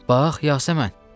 Bax Yasəmən,